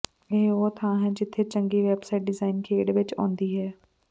ਇਹ ਉਹ ਥਾਂ ਹੈ ਜਿੱਥੇ ਚੰਗੀ ਵੈਬਸਾਈਟ ਡਿਜ਼ਾਇਨ ਖੇਡ ਵਿੱਚ ਆਉਂਦੀ ਹੈ